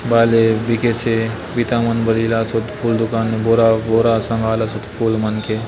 बायले बीकेसे बिता मन बले ईलासोत फूल दुकान ने बोरा-बोरा संगालासोत फूल मन के --